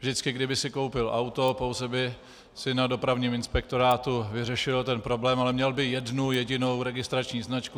Vždycky kdyby si koupil auto, pouze by si na dopravním inspektorátu vyřešil ten problém, ale měl by jednu jedinou registrační značku.